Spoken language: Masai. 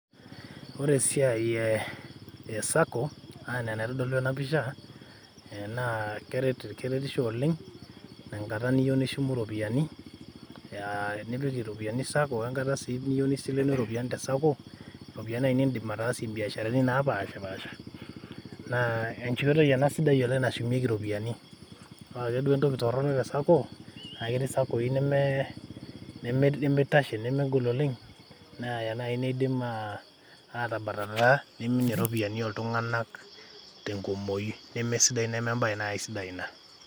Ore esiai e ee esako anaa enitadolu ena pisha na keret keretisho oleng tenkata niyieu nishum iropiyiani aa nipik iropiyiani sacco arashu enkata iropiyiani niindim ataasie biasharani napashapasha na enkoitoi ena sida nashumieki iropiyiani pookin duake entoki toronok te sacco na kelo nitum saccoi nemegol nemeitasho oleng ana aa nai neidim atabatata ltunganak tenkumoi nemesidai si nai ina.